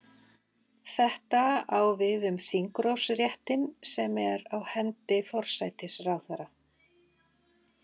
Þetta á við um þingrofsréttinn sem er á hendi forsætisráðherra.